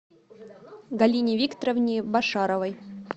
галине викторовне башаровой